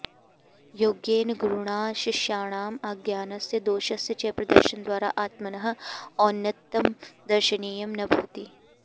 योग्येन गुरुणा शिष्याणाम् अज्ञानस्य दोषस्य च प्रदर्शनद्वारा आत्मनः औन्नत्यं दर्शनीयं न भवति